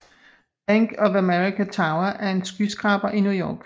Bank of America Tower er en skyskraber i New York